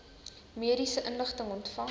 mediese inligting ontvang